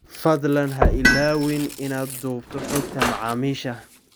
Fadlan ha ilaawin inaad duubto xogta macaamiisha